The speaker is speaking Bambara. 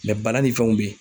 bana ni fɛnw be yen.